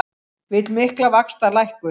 Vill mikla vaxtalækkun